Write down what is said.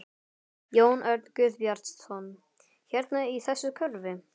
Jón Örn Guðbjartsson: Hérna í þessu hverfi?